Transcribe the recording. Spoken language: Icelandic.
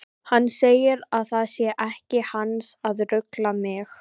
Hann segir að það sé ekki hans að rugla mig.